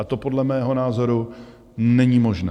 A to podle mého názoru není možné.